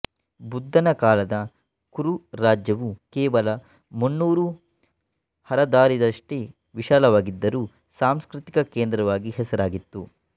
ಬುದ್ಧನ ಕಾಲದ ಕುರು ರಾಜ್ಯವು ಕೇವಲ ಮುನ್ನೂರು ಹರದಾರಿಯಷ್ಟೇ ವಿಶಾಲವಾಗಿದ್ದರೂ ಸಾಂಸ್ಕೃತಿಕ ಕೇಂದ್ರವಾಗಿ ಹೆಸರಾಗಿತ್ತು